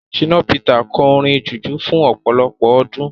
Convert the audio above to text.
Ṣínà Pítà kọ orin jùjú fún ọ̀pọ̀lọpọ̀ ọdún.